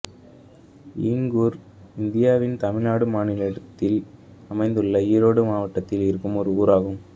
ஈங்கூர் இந்தியாவின் தமிழ்நாடு மாநிலத்தில் அமைந்துள்ள ஈரோடு மாவட்டத்தில் இருக்கும் ஒரு ஊர் ஆகும்